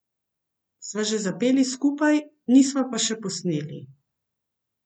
Sva že zapeli skupaj, nisva pa še posneli.